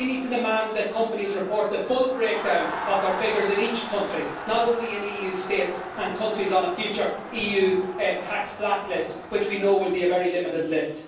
We need to demand that companies report the full breakdown of their figures in each country not only in EU states and countries on a future EU tax blacklist, which we know will be a very limited list.